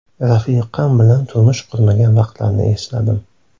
Rafiqam bilan turmush qurmagan vaqtlarni esladim.